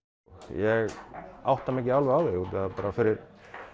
ég átta mig ekki alveg á því útaf því að bara fyrir